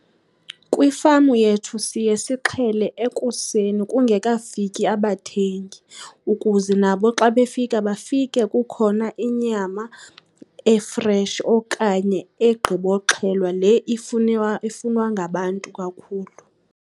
Kwifamu yethu siye sixhele ekuseni kungekafiki abathengi, ukuze nabo xa befika bafike kukhona inyama efreshi okanye egqiboxhelwa, le ifunwa, ifunwa ngabantu kakhulu.